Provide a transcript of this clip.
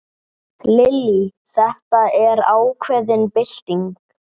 Lillý: Þetta er ákveðin bylting?